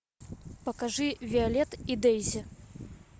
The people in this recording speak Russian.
покажи виолет и дейзи